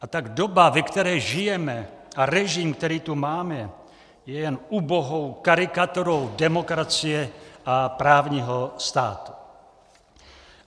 A tak doba, ve které žijeme, a režim, který tu máme, je jen ubohou karikaturou demokracie a právního státu.